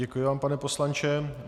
Děkuji vám, pane poslanče.